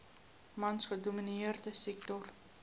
mans gedomineerde sektor